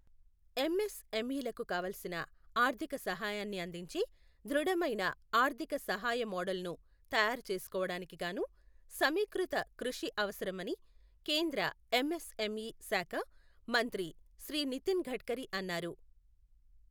ఎంఎస్ఎంఇలకు కావాలసిన ఆర్ధిక సహాయాన్ని అందించే ధృడమైన ఆర్ధిక సహాయ మోడల్ను తయారు చేసుకోవడానికిగాను సమీకృత కృషి అవసరమని కేంద్ర ఎంఎస్ఎంఇ శాఖ మంత్రి శ్రీ నితిన్ గడ్కరీ అన్నారు.